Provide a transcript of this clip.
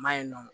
Ma ye nɔ